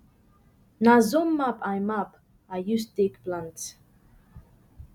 na zone map i map i use take plant